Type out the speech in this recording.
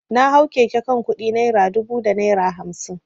Na hau keke kan kudi naira dubu da naira hamsin.